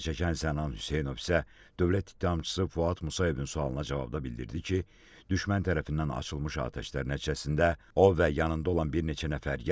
Zərər çəkən Sənan Hüseynov isə Dövlət ittihamçısı Fuad Musayevin sualına cavabda bildirdi ki, düşmən tərəfindən açılmış atəşlər nəticəsində o və yanında olan bir neçə nəfər yaralanıb.